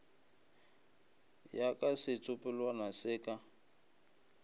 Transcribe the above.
ya ka setsopolwana se ka